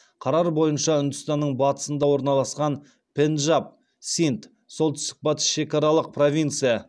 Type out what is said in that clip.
қарар бойынша үндістанның батысында орналасқан пенджаб синд солтүстік батыс шекаралық провинция